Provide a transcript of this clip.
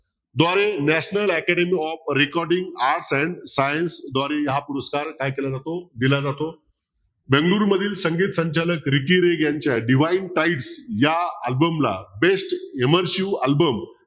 द्वारे national academy of recording arts and science द्वारे हा पुरस्कार काय केल्या जातो दिल्या जातो बेंगळुरू मधील संगीत संचालक रिकी रेग यांचा divine types या album ला best immersive album